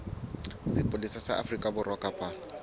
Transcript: sepolesa sa afrika borwa kapa